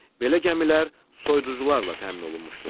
Belə gəmilər soyuducularla təmin olunmuşdur.